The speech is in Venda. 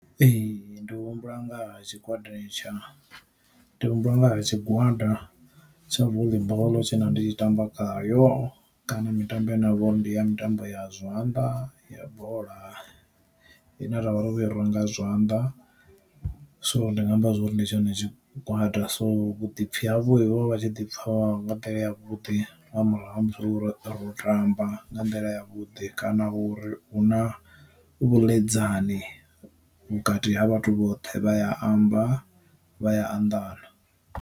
Ee ndi humbula ngaha tshi gwada tsha ndi humbula nga ha tshigwada tsha voḽi boḽo tshe nda ndi tshi tamba khayo kana mitambo ya navho ndi ya mitambo ya zwiamba ya bola, i ne ra vha ro i rwa nga zwanḓa so ndinga amba zwori ndi tshone tshigwada. So vhuḓipfi havho vho vha tshi ḓi pfha nga nḓila ya vhuḓi nga murahu ha musi uri ro tamba nga nḓila ya vhuḓi kana uri hu na vhuḽedzani vhukati ha vhathu vhoṱhe vha ya amba vha ya anḓana.